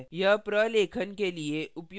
यह प्रलेखन के लिए उपयोगी है